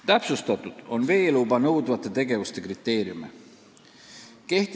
Täpsustatud on veeluba nõudvate tegevuste kriteeriume.